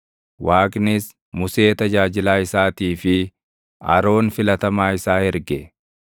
Waaqnis Musee tajaajilaa isaatii fi Aroon filatamaa isaa erge.